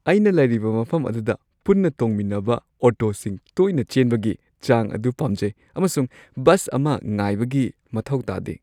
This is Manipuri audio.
ꯑꯩꯅ ꯂꯩꯔꯤꯕ ꯃꯐꯝ ꯑꯗꯨꯗ ꯄꯨꯟꯅ ꯇꯣꯡꯃꯤꯟꯅꯕ ꯑꯣꯇꯣꯁꯤꯡ ꯇꯣꯏꯅ ꯆꯦꯟꯕꯒꯤ ꯆꯥꯡ ꯑꯗꯨ ꯄꯥꯝꯖꯩ ꯑꯃꯁꯨꯡ ꯕꯁ ꯑꯃ ꯉꯥꯏꯕꯒꯤ ꯃꯊꯧ ꯇꯥꯗꯦ꯫